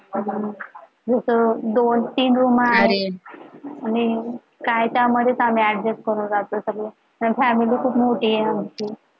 दोन तीन room आहे आणि काय त्यामध्ये आम्ही adjust करून राहतो सगळं आणि family खूप मोठी आहे आमची